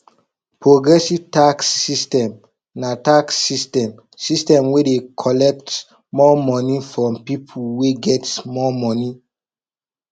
progressive tax system na tax system system wey dey collect more money from pipo wey get more money